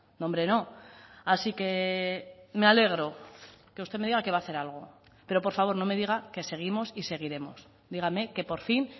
no hombre no así que me alegro que usted me diga que va a hacer algo pero por favor no me diga que seguimos y seguiremos dígame que por fin